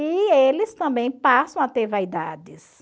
E eles também passam a ter vaidades.